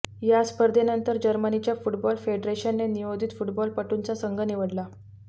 या स्पर्धेनंतर जर्मनीच्या फुटबॉल फेडरेशनने नवोदित फुटबॉलपटूंचा संघ निवडला